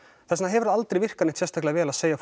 þess vegna hefur það aldrei virkað neitt sérstaklega vel að segja